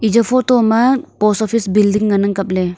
eja photo ma post office post biling